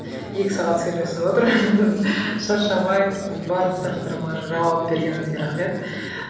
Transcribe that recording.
екі сағат сөйлесіп отырмыз шаршамай барлық сұрақтарыма жауап бергеніңізге рахмет